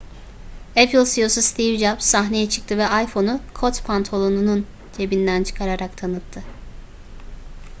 apple ceo'su steve jobs sahneye çıktı ve iphone'u kot pantolonunun cebinden çıkararak tanıttı